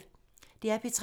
DR P3